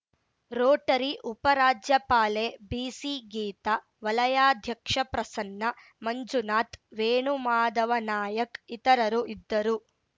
Rotary ಉಪ ರಾಜ್ಯಪಾಲೆ B C Geeta ವಲಯಾಧ್ಯಕ್ಷ ಪ್ರಸನ್ನ ಮಂಜುನಾಥ್‌ ವೇಣುಮಾದವ ನಾಯಕ್ ಇತರರು ಇದ್ದರು